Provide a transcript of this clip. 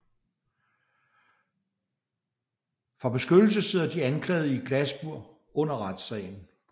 For beskyttelse sidder de anklagede i et glasbur under retssagen